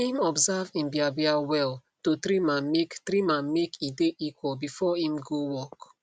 im observe im biabia well to trim ammake trim ammake e dae equal before im go work